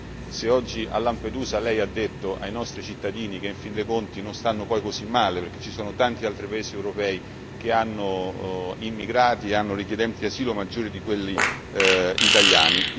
Io non so se oggi a Lampedusa Lei ha detto ai nostri cittadini che, in fin dei conti, non stanno poi così male perché ci sono tanti altri paesi europei che hanno immigrati, hanno richiedenti asilo maggiori di quelli italiani.